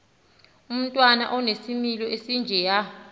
umntwana onesimilo esinjeya